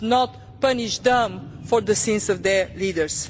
We should not punish them for the sins of their leaders.